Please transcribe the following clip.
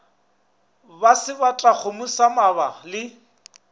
ba sebatakgomo sa mabala le